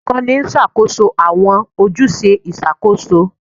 Olukọni n ṣakoso awọn ojuse iṣakoso